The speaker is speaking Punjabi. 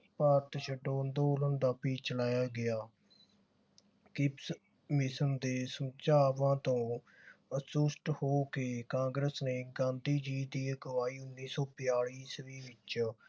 ਭਾਰਤ ਛੱਡੋ ਅੰਦੋਲਨ ਦਾ ਵੀ ਚਲਾਇਆ ਗਿਆ। ਕੀਪਸ mission ਦੇ ਸੁਝਾਵਾਂ ਤੋਂ ਅਸੰਤੁਸ਼ਟ ਹੋ ਕੇ ਕਾਂਗਰਸ ਨੇ ਗਾਂਧੀ ਜੀ ਦੀ ਅਗਵਾਈ ਉੱਨੀ ਸੌ ਬਿਆਲੀ ਇਸਵੀਂ ਵਿਚ